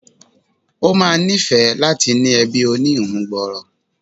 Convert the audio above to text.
Ó ma níìfẹ́ láti ní ẹbí oníhun gbòòrò